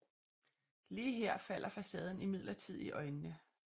Lige her falder facaden imidlertid i øjnene